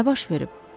Nə baş verib?